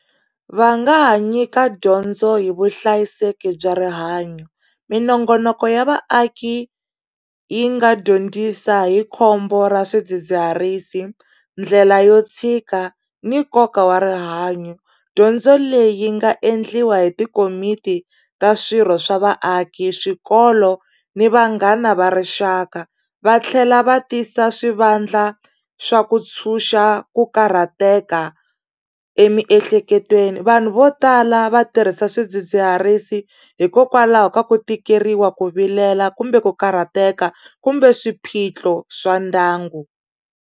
Va nga ha nyika dyondzo hi vuhlayiseki bya rihanyo minongonoko ya vaaki yi nga dyondzisa hi khombo ra swidzidziharisi ndlela yo tshika ni nkoka wa rihanyo dyondzo leyi yi nga endliwa hi tikomiti ta swirho swa vaaki swikolo ni vanghana va rixaka va tlhela va tisa swivandla swa ku ntshunxa ku karhateka emiehleketweni vanhu vo tala va tirhisa swidzidziharisi hikokwalaho ka ku tikeriwa ku vilela kumbe ku karhateka kumbe swiphiqo swa ndyangu.